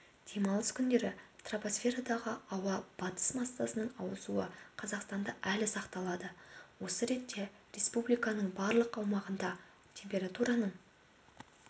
демалыс күндері тропосферадағы ауа батыс массасының ауысуы қазақстанда әлі сақталады осы ретте республиканың барлық аумағында температураның